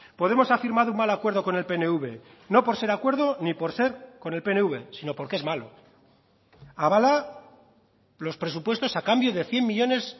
podemos ha firmado un mal acuerdo con el pnv no por ser acuerdo ni por ser con el pnv sino porque es malo avala los presupuestos a cambio de cien millónes